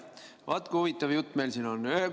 Vaat kui huvitav jutt meil siin on!